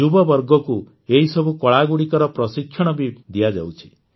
ଯୁବବର୍ଗକୁ ଏହିସବୁ କଳାଗୁଡ଼ିକର ପ୍ରଶିକ୍ଷଣ ବି ଦିଆଯାଉଛି